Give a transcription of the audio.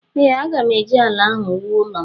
Ee, aga m eji ala ahụ wuo ụlọ m